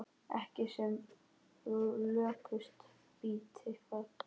Ekki sem lökust býti það.